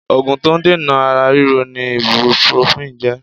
Ògùn to n dènà ara ríro ni 'ibuprofen' jé